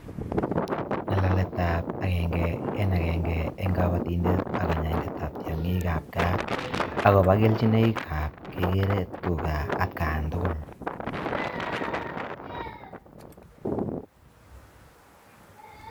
Ngalaletab agenge en agenge eng kabatindet ak kanyaindetab tiongik gaa akobo kelchinoikab kikere tuga atkaan tugul.